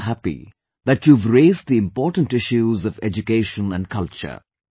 I am also happy that you have raised the important issues of education and culture